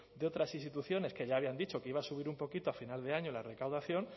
de otras instituciones que ya habían dicho que iba a subir un poquito a final de año la recaudación